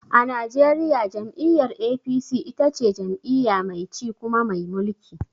A najeriya jam'iyyar APC ita ce jam'iyya mai ci kuma mai mulki.